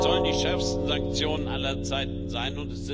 Es sollen die schärfsten Sanktionen aller Zeiten sein.